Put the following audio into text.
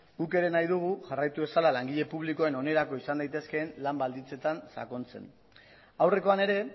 guk ere nahi dugu jarraitu dezala langile publikoen onerako izan daitezkeen lan baldintzetan sakontzen aurrekoan ere